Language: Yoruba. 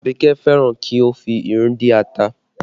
Abike fẹ́ràn kí o fi irú dín ata